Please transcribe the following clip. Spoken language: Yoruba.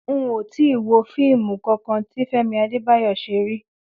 N ò tíì wo fíìmù kankan tí Fé̩mi Adébáyò̩ s̩e rí